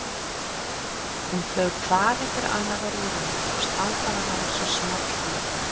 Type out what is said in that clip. Hún flaug hvað eftir annað á rúðuna og stangaði hana svo small í.